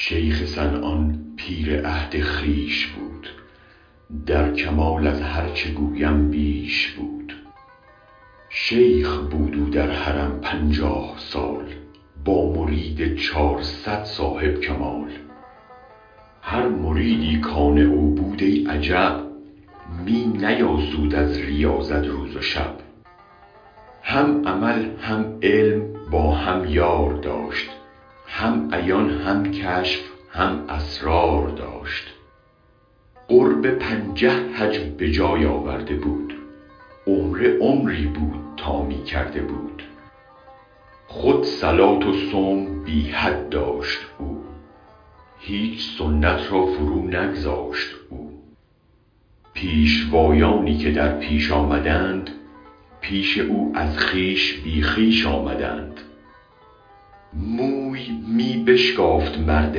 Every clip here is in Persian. شیخ صنعان پیر عهد خویش بود در کمال از هرچه گویم بیش بود شیخ بود او در حرم پنجاه سال با مرید چارصد صاحب کمال هر مریدی کآن او بود ای عجب می نیاسود از ریاضت روز و شب هم عمل هم علم با هم یار داشت هم عیان هم کشف هم اسرار داشت قرب پنجه حج بجای آورده بود عمره عمری بود تا می کرده بود خود صلاة و صوم بی حد داشت او هیچ سنت را فرو نگذاشت او پیشوایانی که در پیش آمدند پیش او از خویش بی خویش آمدند موی می بشکافت مرد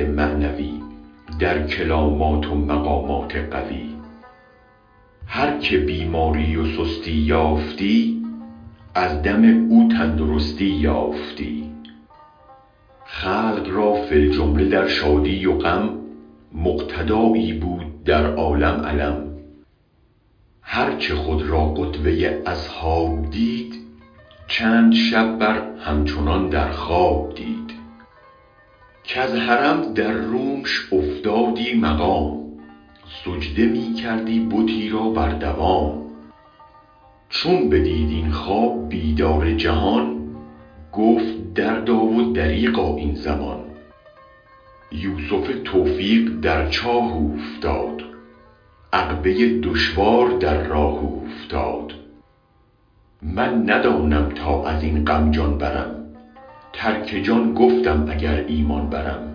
معنوی در کرامات و مقامات قوی هرکه بیماری و سستی یافتی از دم او تندرستی یافتی خلق را فی الجمله در شادی و غم مقتدایی بود در عالم علم گرچه خود را قدوه ی اصحاب دید چند شب بر هم چنان در خواب دید کز حرم در رومش افتادی مقام سجده می کردی بتی را بر دوام چون بدید این خواب بیدار جهان گفت دردا و دریغا این زمان یوسف توفیق در چاه اوفتاد عقبه دشوار در راه اوفتاد من ندانم تا ازین غم جان برم ترک جان گفتم اگر ایمان برم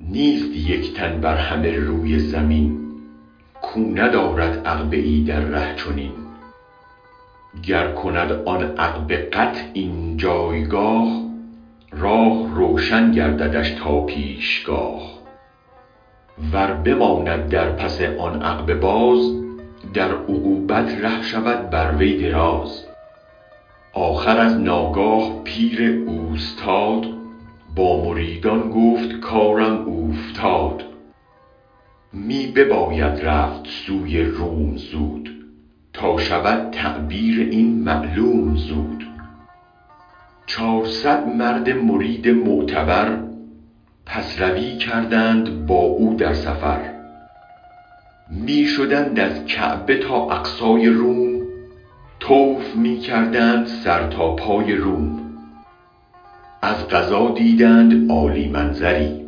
نیست یک تن بر همه روی زمین کو ندارد عقبه ای در ره چنین گر کند آن عقبه قطع این جایگاه راه روشن گرددش تا پیشگاه ور بماند در پس آن عقبه باز در عقوبت ره شود بر وی دراز آخر از ناگاه پیر اوستاد با مریدان گفت کارم اوفتاد می بباید رفت سوی روم زود تا شود تعبیر این معلوم زود چار صد مرد مرید معتبر پس روی کردند با او در سفر می شدند از کعبه تا اقصای روم طوف می کردند سر تا پای روم از قضا دیدند عالی منظری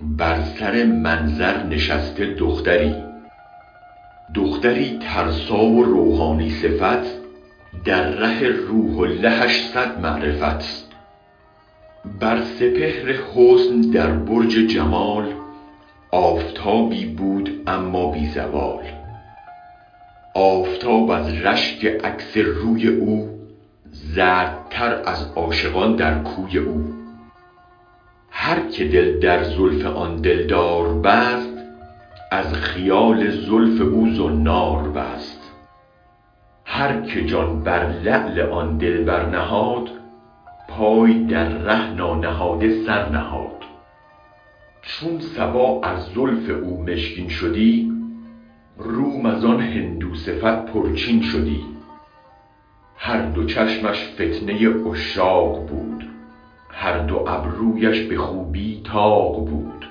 بر سر منظر نشسته دختری دختری ترسا و روحانی صفت در ره روح اللهش صد معرفت بر سپهر حسن در برج جمال آفتابی بود اما بی زوال آفتاب از رشک عکس روی او زردتر از عاشقان در کوی او هرکه دل در زلف آن دلدار بست از خیال زلف او زنار بست هرکه جان بر لعل آن دلبر نهاد پای در ره نانهاده سرنهاد چون صبا از زلف او مشکین شدی روم از آن هندوصفت پر چین شدی هر دو چشمش فتنه عشاق بود هر دو ابرویش به خوبی طاق بود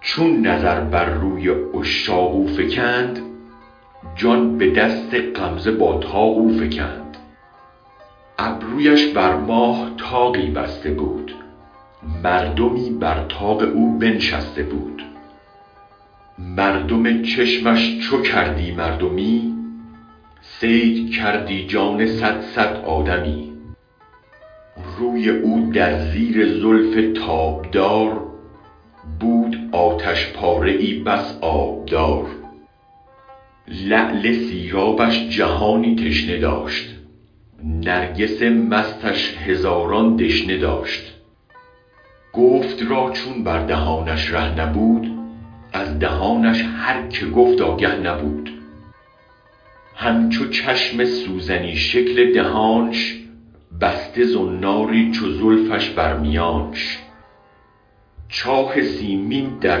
چون نظر بر روی عشاق او فکند جان به دست غمزه با طاق او فکند ابرویش بر ماه طاقی بسته بود مردمی بر طاق او بنشسته بود مردم چشمش چو کردی مردمی صید کردی جان صد صد آدمی روی او در زیر زلف تابدار بود آتش پاره ای بس آبدار لعل سیرابش جهانی تشنه داشت نرگس مستش هزاران دشنه داشت گفت را چون بر دهانش ره نبود از دهانش هر که گفت آگه نبود همچو چشم سوزنی شکل دهانش بسته زناری چو زلفش بر میانش چاه سیمین در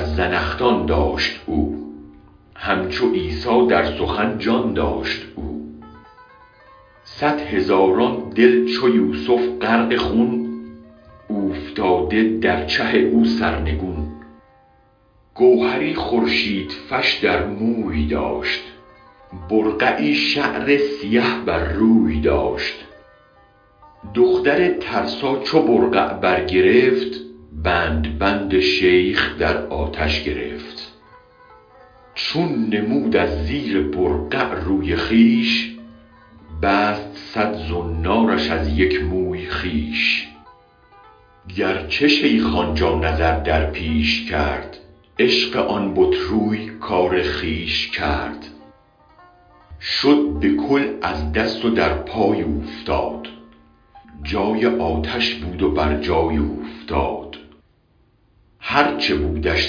زنخدان داشت او همچو عیسی در سخن جان داشت او صد هزاران دل چو یوسف غرق خون اوفتاده در چه او سرنگون گوهری خورشیدفش در موی داشت برقعی شعر سیه بر روی داشت دختر ترسا چو برقع برگرفت بند بند شیخ آتش درگرفت چون نمود از زیر برقع روی خویش بست صد زنارش از یک موی خویش گرچه شیخ آنجا نظر در پیش کرد عشق آن بت روی کار خویش کرد شد به کل از دست و در پای اوفتاد جای آنش بود و برجای اوفتاد هرچه بودش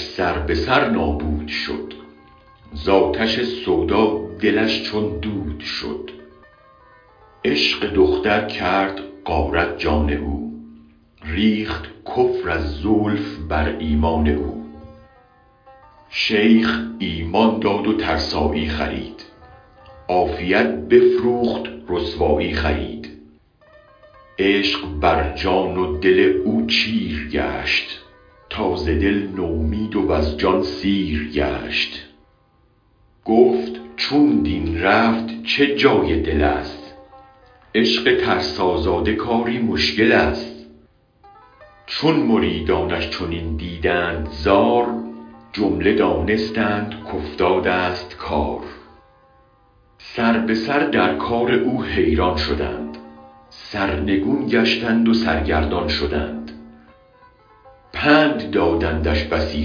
سر به سر نابود شد ز آتش سودا دلش چون دود شد عشق دختر کرد غارت جان او ریخت کفر از زلف بر ایمان او شیخ ایمان داد و ترسایی خرید عافیت بفروخت رسوایی خرید عشق برجان و دل او چیر گشت تا ز دل نومید وز جان سیر گشت گفت چون دین رفت چه جای دلست عشق ترسازاده کاری مشکل است چون مریدانش چنین دیدند زار جمله دانستند کافتادست کار سر به سر در کار او حیران شدند سرنگون گشتند و سرگردان شدند پند دادندش بسی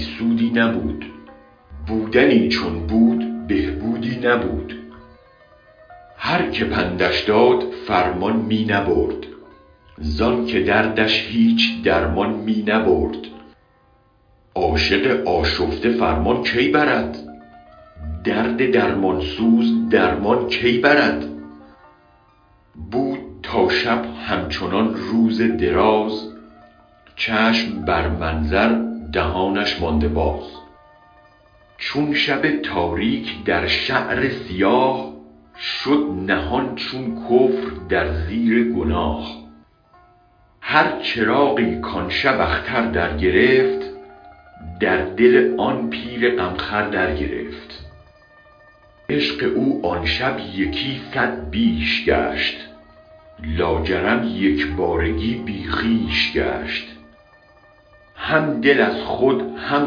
سودی نبود بودنی چون بود به بودی نبود هرکه پندش داد فرمان می نبرد زآن که دردش هیچ درمان می نبرد عاشق آشفته فرمان کی برد درد درمان سوز درمان کی برد بود تا شب همچنان روز دراز چشم بر منظر دهانش مانده باز چون شب تاریک در شعر سیاه شد نهان چون کفر در زیر گناه هر چراغی کآن شب اختر درگرفت از دل آن پیر غم خور درگرفت عشق او آن شب یکی صد بیش شد لاجرم یک بارگی بی خویش شد هم دل از خود هم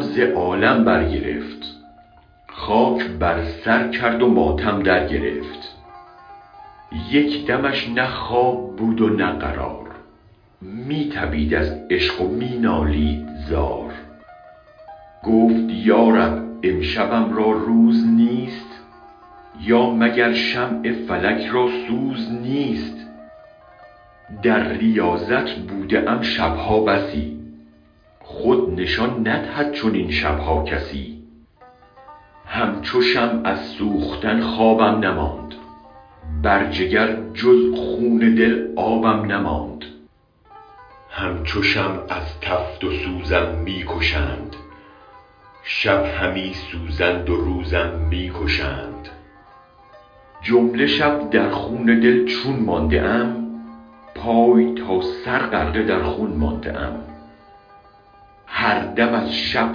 ز عالم برگرفت خاک بر سر کرد و ماتم درگرفت یک دمش نه خواب بود و نه قرار می تپید از عشق و می نالید زار گفت یا رب امشبم را روز نیست یا مگر شمع فلک را سوز نیست در ریاضت بوده ام شب ها بسی خود نشان ندهد چنین شب ها کسی همچو شمع از سوختن خوابم نماند بر جگر جز خون دل آبم نماند همچو شمع از تفت و سوزم می کشند شب همی سوزند و روزم می کشند جمله شب در خون دل چون مانده ام پای تا سر غرقه در خون مانده ام هر دم از شب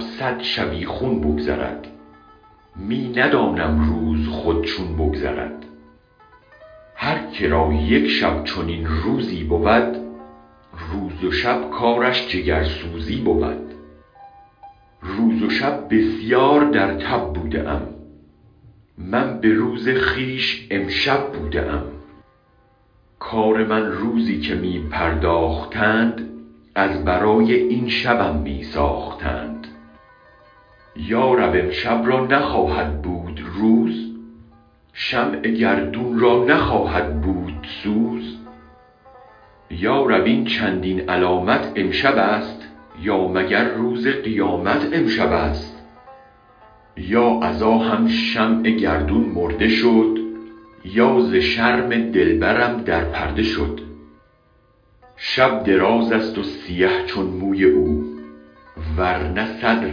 صد شبیخون بگذرد می ندانم روز خود چون بگذرد هرکه را یک شب چنین روزی بود روز و شب کارش جگرسوزی بود روز و شب بسیار در تب بوده ام من به روز خویش امشب بوده ام کار من روزی که می پرداختند از برای این شبم می ساختند یا رب امشب را نخواهد بود روز شمع گردون را نخواهد بود سوز یا رب این چندین علامت امشبست یا مگر روز قیامت امشبست یا از آهم شمع گردون مرده شد یا ز شرم دلبرم در پرده شد شب دراز است و سیه چون موی او ورنه صد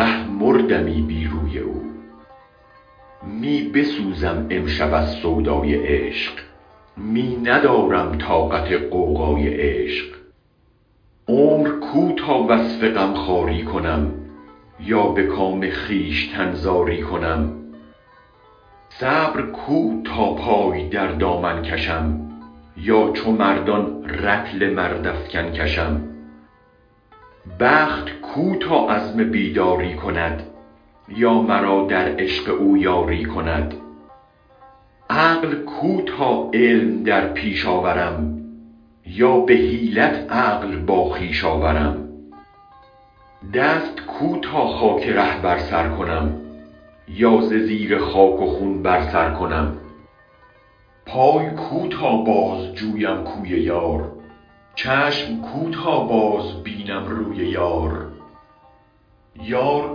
ره مردمی بی روی او می بسوزم امشب از سودای عشق می ندارم طاقت غوغای عشق عمر کو تا وصف غم خواری کنم یا به کام خویشتن زاری کنم صبر کو تا پای در دامن کشم یا چو مردان رطل مردافکن کشم بخت کو تا عزم بیداری کند یا مرا در عشق او یاری کند عقل کو تا علم در پیش آورم یا به حیلت عقل با خویش آورم دست کو تا خاک ره بر سر کنم یا ز زیر خاک و خون سر برکنم پای کو تا بازجویم کوی یار چشم کو تا بازبینم روی یار یار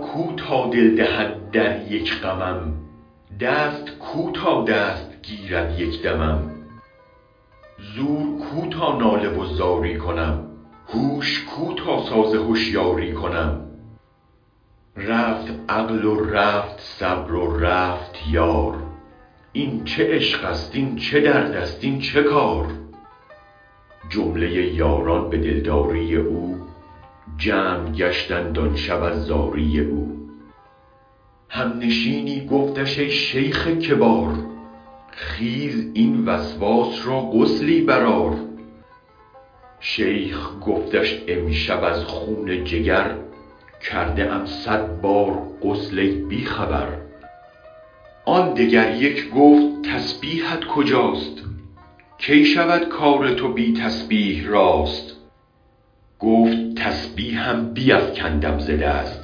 کو تا دل دهد در یک غمم دست کو تا دست گیرد یک دمم زور کو تا ناله و زاری کنم هوش کو تا ساز هشیاری کنم رفت عقل و رفت صبر و رفت یار این چه عشق است این چه درد است این چه کار جمله یاران به دلداری او جمع گشتند آن شب از زاری او همنشینی گفتش ای شیخ کبار خیز این وسواس را غسلی برآر شیخ گفتش امشب از خون جگر کرده ام صد بار غسل ای بی خبر آن دگر یک گفت تسبیحت کجاست کی شود کار تو بی تسبیح راست گفت تسبیحم بیفکندم ز دست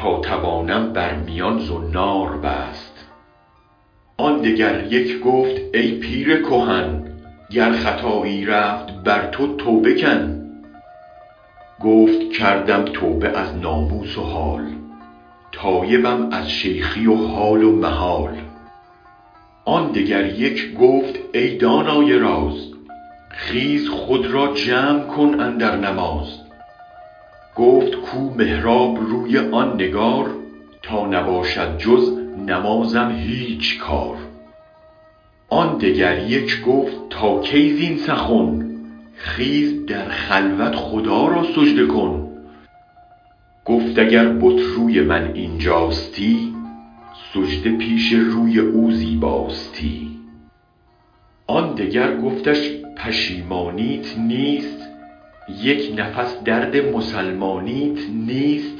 تا توانم بر میان زنار بست آن دگر یک گفت ای پیرکهن گر خطایی رفت بر تو توبه کن گفت کردم توبه از ناموس و حال تایبم از شیخی و حال و محال آن دگر یک گفت ای دانای راز خیز خود را جمع کن اندر نماز گفت کو محراب روی آن نگار تا نباشد جز نمازم هیچ کار آن دگر یک گفت تا کی زین سخن خیز در خلوت خدا را سجده کن گفت اگر بت روی من اینجاستی سجده پیش روی او زیباستی آن دگر گفتش پشیمانیت نیست یک نفس درد مسلمانیت نیست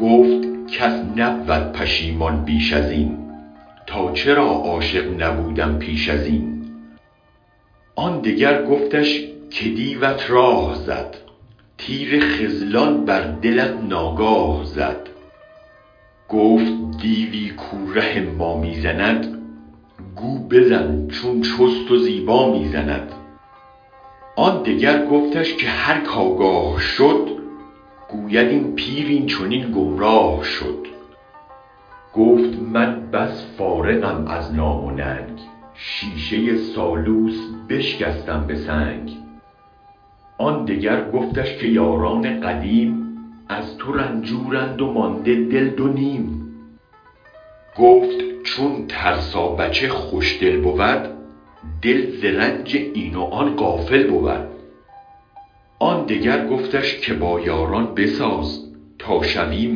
گفت کس نبود پشیمان بیش ازین تا چرا عاشق نبودم پیش ازین آن دگر گفتش که دیوت راه زد تیر خذلان بر دلت ناگاه زد گفت دیوی کو ره ما می زند گو بزن چون چست و زیبا می زند آن دگر گفتش که هرک آگاه شد گوید این پیر این چنین گمراه شد گفت من بس فارغم از نام و ننگ شیشه سالوس بشکستم به سنگ آن دگر گفتش که یاران قدیم از تو رنجورند و مانده دل دو نیم گفت چون ترسابچه خوش دل بود دل ز رنج این و آن غافل بود آن دگر گفتش که با یاران بساز تا شویم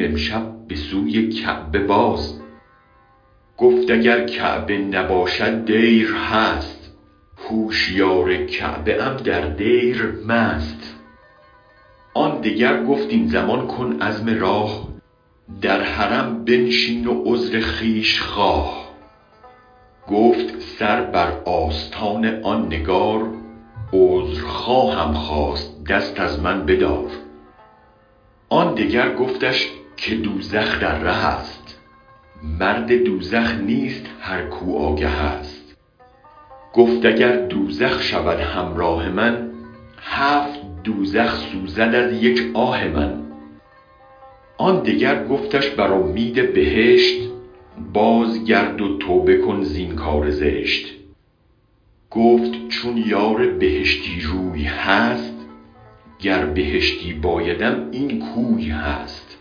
امشب بسوی کعبه باز گفت اگر کعبه نباشد دیر هست هوشیار کعبه ام در دیر مست آن دگر گفت این زمان کن عزم راه در حرم بنشین و عذر خویش خواه گفت سر بر آستان آن نگار عذر خواهم خواست دست از من بدار آن دگر گفتش که دوزخ در ره است مرد دوزخ نیست هر کو آگه است گفت اگر دوزخ شود همراه من هفت دوزخ سوزد از یک آه من آن دگر گفتش بر امید بهشت باز گرد و توبه کن زین کار زشت گفت چون یار بهشتی روی هست گر بهشتی بایدم این کوی هست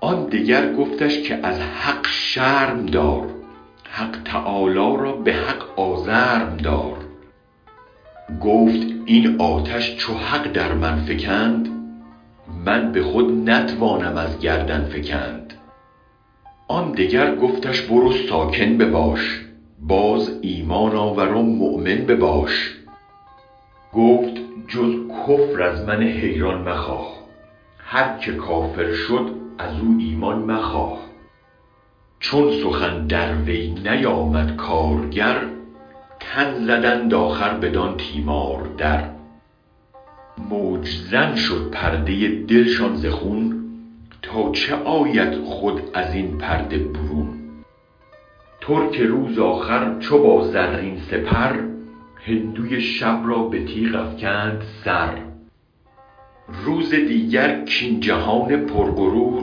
آن دگر گفتش که از حق شرم دار حق تعالی را به حق آزرم دار گفت این آتش چو حق در من فکند من به خود نتوانم از گردن فکند آن دگر گفتش برو ساکن بباش باز ایمان آور و مؤمن بباش گفت جز کفر از من حیران مخواه هرک کافر شد ازو ایمان مخواه چون سخن در وی نیامد کارگر تن زدند آخر بدان تیمار در موج زن شد پرده دلشان ز خون تا چه آید خود ازین پرده برون ترک روز آخر چو با زرین سپر هندوی شب را به تیغ افکند سر روز دیگر کاین جهان پر غرور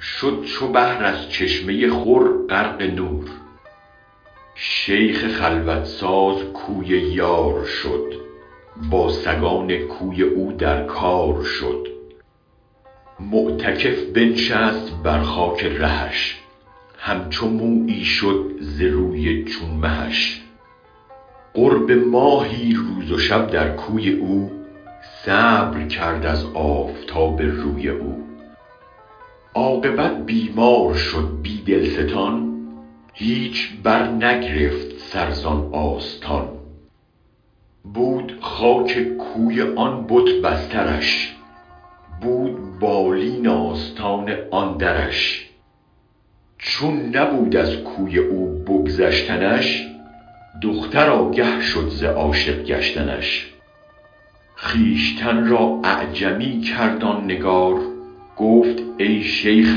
شد چو بحر از چشمه خور غرق نور شیخ خلوت ساز کوی یار شد با سگان کوی او در کار شد معتکف بنشست بر خاک رهش همچو مویی شد ز روی چون مهش قرب ماهی روز و شب در کوی او صبر کرد از آفتاب روی او عاقبت بیمار شد بی دلستان هیچ برنگرفت سر زآن آستان بود خاک کوی آن بت بسترش بود بالین آستان آن درش چون نبود از کوی او بگذشتنش دختر آگه شد ز عاشق گشتنش خویشتن را اعجمی کرد آن نگار گفت ای شیخ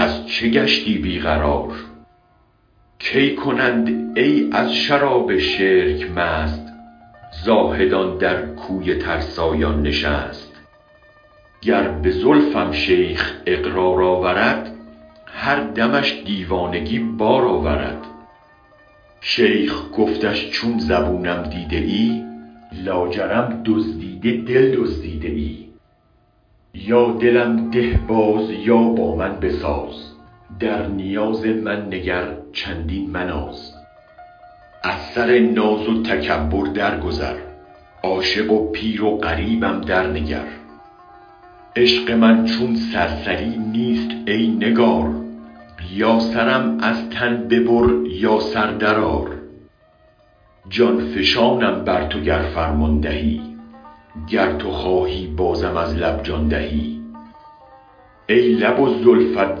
از چه گشتی بی قرار کی کنند ای از شراب شرک مست زاهدان در کوی ترسایان نشست گر به زلفم شیخ اقرار آورد هر دمش دیوانگی بار آورد شیخ گفتش چون زبونم دیده ای لاجرم دزدیده دل دزدیده ای یا دلم ده باز یا با من بساز در نیاز من نگر چندین مناز از سر ناز و تکبر درگذر عاشق و پیر و غریبم درنگر عشق من چون سرسری نیست ای نگار یا سرم از تن ببر یا سر درآر جان فشانم بر تو گر فرمان دهی گر تو خواهی بازم از لب جان دهی ای لب و زلفت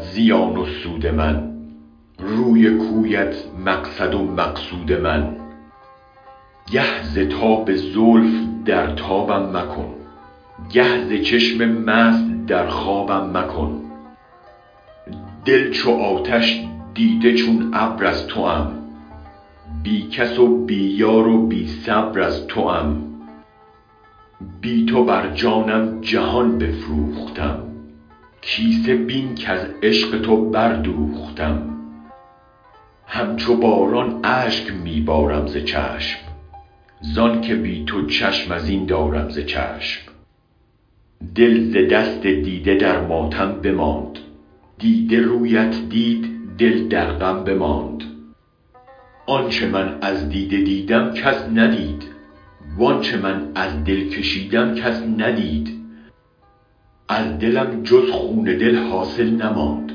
زیان و سود من روی و کویت مقصد و مقصود من گه ز تاب زلف در تابم مکن گه ز چشم مست در خوابم مکن دل چو آتش دیده چون ابر از توام بی کس و بی یار و بی صبر از توام بی تو بر جانم جهان بفروختم کیسه بین کز عشق تو بردوختم همچو باران اشک می بارم ز چشم زآن که بی تو چشم این دارم ز چشم دل ز دست دیده در ماتم بماند دیده رویت دید دل در غم بماند آنچه من از دیده دیدم کس ندید وآنچه من از دل کشیدم کس ندید از دلم جز خون دل حاصل نماند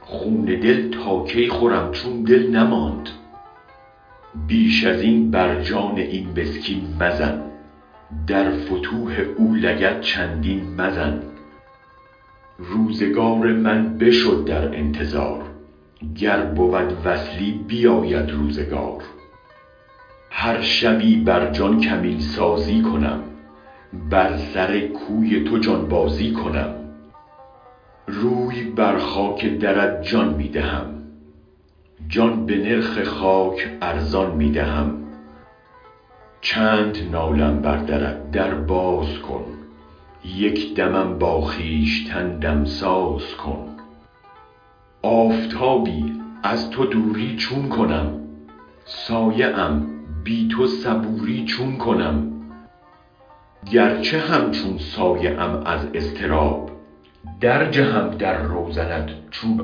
خون دل تا کی خورم چون دل نماند بیش ازین بر جان این مسکین مزن در فتوح او لگد چندین مزن روزگار من بشد در انتظار گر بود وصلی بیاید روزگار هر شبی بر جان کمین سازی کنم بر سر کوی تو جان بازی کنم روی بر خاک درت جان می دهم جان به نرخ خاک ارزان می دهم چند نالم بر درت در باز کن یک دمم با خویشتن دمساز کن آفتابی از تو دوری چون کنم سایه ام بی تو صبوری چون کنم گرچه همچون سایه ام از اضطراب درجهم در روزنت چون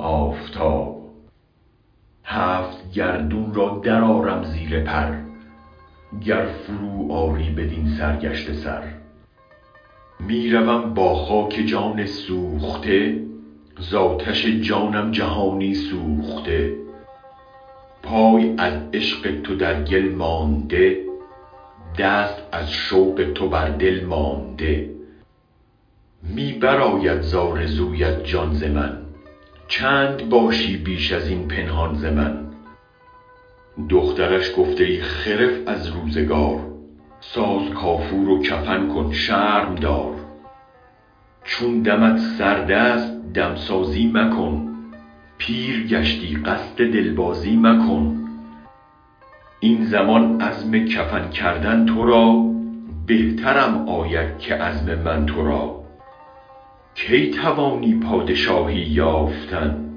آفتاب هفت گردون را درآرم زیر پر گر فرو آری بدین سرگشته سر می روم با خاک جان سوخته ز آتش جانم جهانی سوخته پای از عشق تو در گل مانده دست از شوق تو بر دل مانده می برآید ز آرزویت جان ز من چند باشی بیش از این پنهان ز من دخترش گفت ای خرف از روزگار ساز کافور و کفن کن شرم دار چون دمت سرد است دمسازی مکن پیر گشتی قصد دل بازی مکن این زمان عزم کفن کردن تو را بهترم آید که عزم من تو را کی توانی پادشاهی یافتن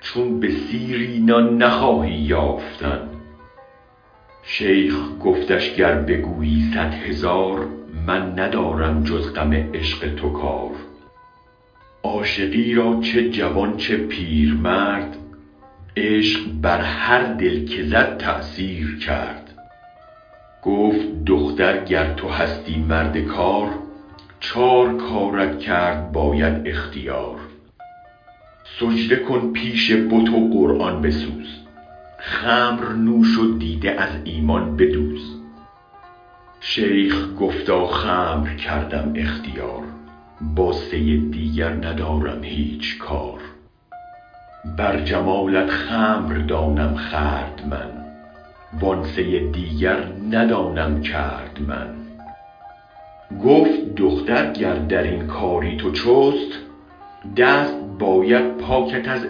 چون به سیری نان نخواهی یافتن شیخ گفتش گر بگویی صد هزار من ندارم جز غم عشق تو کار عاشقی را چه جوان چه پیرمرد عشق بر هر دل که زد تأثیر کرد گفت دختر گر تو هستی مرد کار چار کارت کرد باید اختیار سجده کن پیش بت و قرآن بسوز خمر نوش و دیده از ایمان بدوز شیخ گفتا خمر کردم اختیار با سه دیگر ندارم هیچ کار بر جمالت خمر دانم خورد من و آن سه دیگر ندانم کرد من گفت دختر گر درین کاری تو چست دست باید پاکت از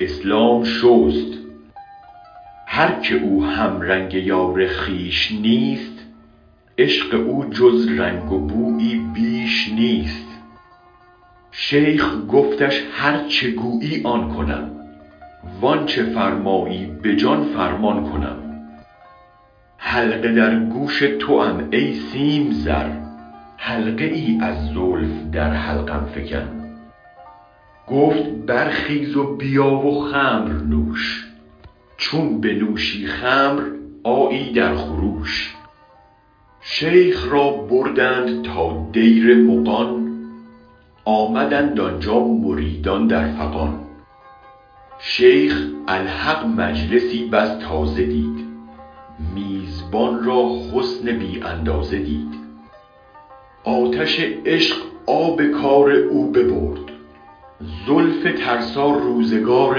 اسلام شست هرکه او همرنگ یار خویش نیست عشق او جز رنگ و بویی بیش نیست شیخ گفتش هرچه گویی آن کنم وآنچه فرمایی به جان فرمان کنم حلقه در گوش توام ای سیم تن حلقه ای از زلف در حلقم فکن گفت برخیز و بیا و خمر نوش چون بنوشی خمر آیی در خروش شیخ را بردند تا دیر مغان آمدند آنجا مریدان در فغان شیخ الحق مجلسی بس تازه دید میزبان را حسن بی اندازه دید آتش عشق آب کار او ببرد زلف ترسا روزگار